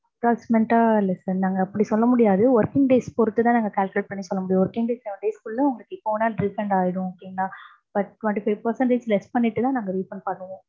approximate ஆ less than தாங்க. working days பொறுத்து தான் நாங்க calculate பன்னி சொல்ல முடியும். working days seven days குள்ள உங்களுக்கு எப்ப வேணாலும் refund ஆயிடும். okay ங்களா. but twenty five percentage less பண்ணிட்டு தான் நாங்க refund பண்ணுவோம்.